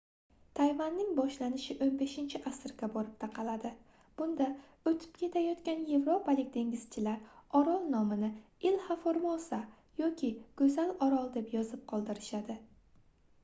tayvanning boshlanishi 15-asrga borib taqaladi bunda oʻtib ketayotgan yevropalik dengizchilar orol nomini ilha formosa yoki goʻzal orol deb yozib qoldirishadi